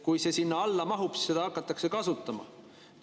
Kui see sinna alla mahub, siis seda hakatakse kasutama.